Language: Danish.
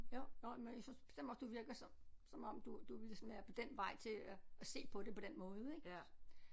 Jo nåh men jeg synes bestemt også du virker som som om du du ville sådan være på den vej til at at se på det på den måde ik